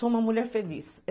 Sou uma mulher feliz.